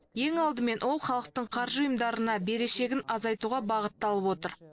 ең алдымен ол халықтың қаржы ұйымдарына берешегін азайтуға бағытталып отыр